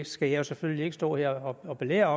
skal jeg selvfølgelig ikke stå her og belære